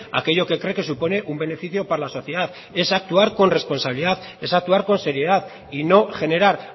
aquello que cree que supone un beneficio para la sociedad es actuar con responsabilidad es actuar con seriedad y no generar